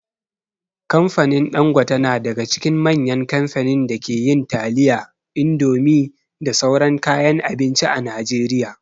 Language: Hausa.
Kamfanin Ɗangote na daga cikin manyan kamfanin da ke yin taliya, indomie da sauran kayan abinci a Najeriya.